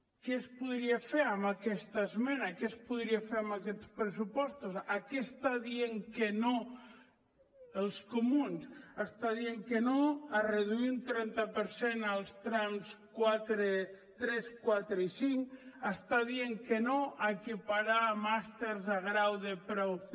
què es podia fer amb aquesta esmena què es podia fer amb aquests pressupostos a què està dient que no els comuns està dient que no a reduir un trenta per cent els trams tres quatre i cinc està dient que no a equiparar màsters a grau de preu c